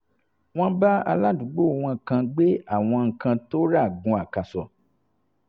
wọ́n bá aládùúgbò wọn kan gbé àwọn nǹkan tó rà gun àkàsò